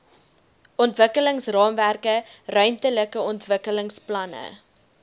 ontwikkelingsraamwerke ruimtelike ontwikkelingsplanne